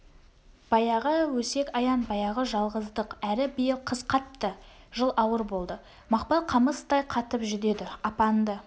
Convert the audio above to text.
баяғы өсек-аяң баяғы жалғыздық әрі биыл қыс қатты жыл ауыр болды мақпал қамыстай қатып жүдеді апаңды